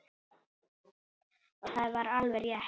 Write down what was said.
Og það var alveg rétt.